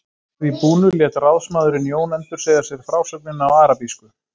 Að því búnu lét ráðsmaðurinn Jón endursegja sér frásögnina á arabísku.